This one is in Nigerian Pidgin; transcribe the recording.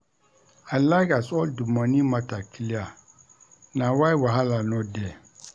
I like as all di moni mata clear, na why wahala no dey.